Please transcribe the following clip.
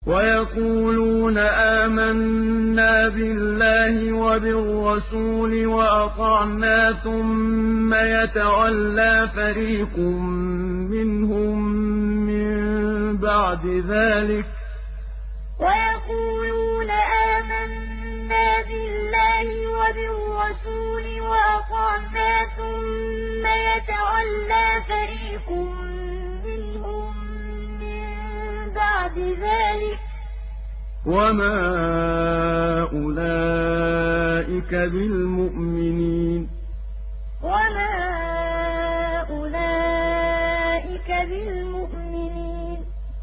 وَيَقُولُونَ آمَنَّا بِاللَّهِ وَبِالرَّسُولِ وَأَطَعْنَا ثُمَّ يَتَوَلَّىٰ فَرِيقٌ مِّنْهُم مِّن بَعْدِ ذَٰلِكَ ۚ وَمَا أُولَٰئِكَ بِالْمُؤْمِنِينَ وَيَقُولُونَ آمَنَّا بِاللَّهِ وَبِالرَّسُولِ وَأَطَعْنَا ثُمَّ يَتَوَلَّىٰ فَرِيقٌ مِّنْهُم مِّن بَعْدِ ذَٰلِكَ ۚ وَمَا أُولَٰئِكَ بِالْمُؤْمِنِينَ